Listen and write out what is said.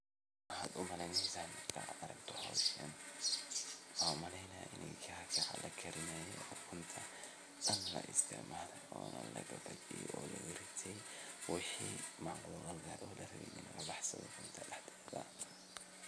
wxan umaleyn iney taho ukuun la isticmaalay oo wixii gudaha kujireen laga baxsaday